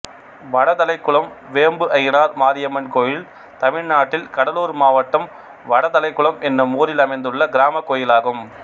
வடதலைக்குளம் வேம்புஐயனார் மாரியம்மன் கோயில் தமிழ்நாட்டில் கடலூர் மாவட்டம் வடதலைக்குளம் என்னும் ஊரில் அமைந்துள்ள கிராமக் கோயிலாகும்